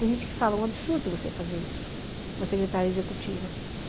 Tem gente que fala, é um absurdo você fazer isso, uma secretária executiva.